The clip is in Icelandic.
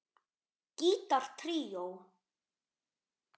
Gítar tríó